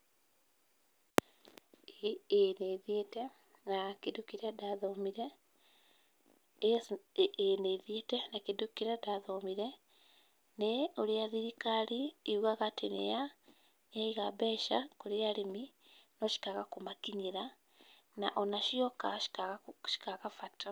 Ĩĩ nĩ thiĩte na kĩndũ kĩrĩa ndathomire, ĩĩ nĩ thiĩte na kĩndũ kĩrĩa ndathomire nĩ ũrĩa thirikari yugaga atĩ nĩ ya yaiga mbeca kũrĩ arĩmi no cikaga kũmakinyĩra na o na cioka cikaga bata.